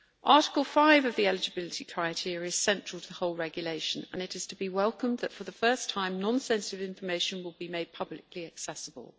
Article 5 of the eligibility criteria is central to the whole Regulation, and it is to be welcomed that for the first time non sensitive information will be made publicly accessible.